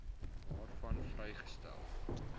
waarvan vrygestel